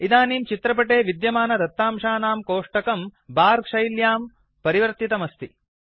इदानीं चित्रपटे विद्यमानदत्तांशानां कोष्टकं बर शैल्यां परिवर्तितम् अस्ति